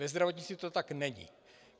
Ve zdravotnictví to tak není.